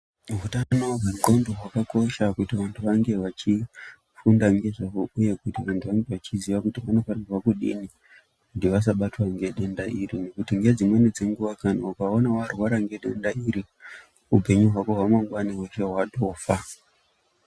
Utano hwendxondo hwakakosha kuti vantu vange vachifunda ngezvahwo uye vanhu vanenge vachiziva kuti vanofanira kudini kuti vasabatwa ngedenda iri, ngekuti ngedzimweni dzenguwa kana ukaona warwara ngedenda iri, upenyu hwako hweshe hwemangwani hwatofa.